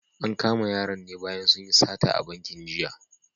An kama yaran ne bayan sun yi sata a bankin jiya.